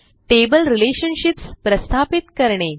table relationships प्रस्थापित करणे